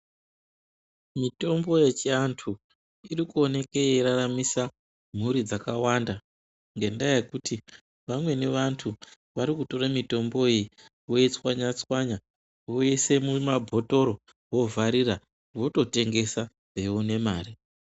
Mitombo yechianthu iri kuoneke yeiraramisa mhuri dzakawanda ngendaa yekuti vamweni vanthu vari kutora mitombo iyi voitswanya tswanya voise mumabhotoro vovharira vototengesa veione mare.